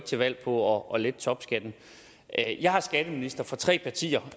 til valg på at lette topskatten jeg er skatteminister for tre partier og